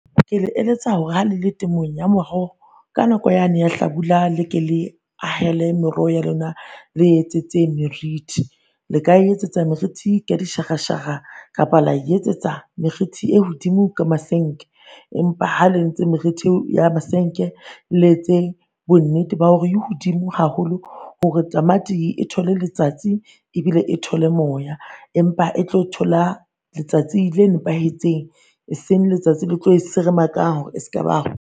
Ke le eletsa hore ha le le temong ya moroho ka nako yane ya Hlabula, le ke le ahele meroho ya lona, le etsetse meriti. Le ka e etsetsa meriti ka dishahashaha, kapa la e etsetsa meriti e hodimo ka masenke. Empa ha le entse meriti ya masenke, le etse bonnete ba hore e hodimo haholo hore tamati e tole letsatsi, ebile e tole moya. Empa e tlo thola letsatsi le nepahetseng, e seng letsatsi le tlo e seremakang hore ska ba